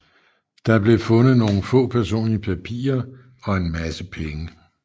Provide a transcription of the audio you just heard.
Der blev fundet nogle få personlige papirer og en masse penge